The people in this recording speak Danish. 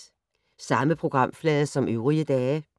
Samme programflade som øvrige dage